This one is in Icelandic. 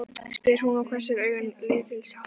spyr hún og hvessir augun lítilsháttar.